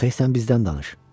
Yox e, sən bizdən danış.